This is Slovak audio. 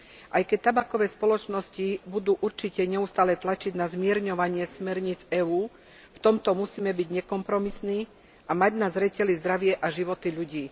Aj keď tabakové spoločnosti budú určite neustále tlačiť na zmierňovanie smerníc EÚ, v tomto musíme byť nekompromisní a mať na zreteli zdravie a životy ľudí.